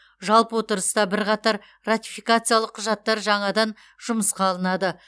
жалпы отырыста бірқатар ратификациялық құжаттар жаңадан жұмысқа алынады